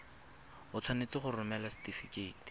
o tshwanetse go romela setefikeiti